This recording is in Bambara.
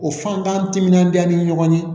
O fantan timinandiya ni ɲɔgɔn ye